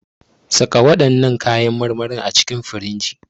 Saka waɗannan kayan marmarin a cikin firinji.